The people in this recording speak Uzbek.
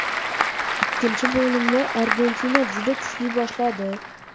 Ikkinchi bo‘limni Argentina juda kuchli boshladi.